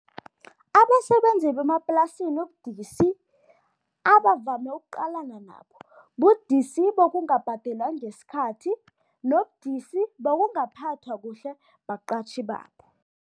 Abasebenzi bemaplasini ubudisi abavame ukuqalana nabo, budisi bokungabhadelwa ngesikhathi nobudisi bokungaphathwa kuhle baqatjhi babo.